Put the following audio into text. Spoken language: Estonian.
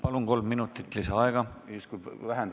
Palun, kolm minutit lisaaega!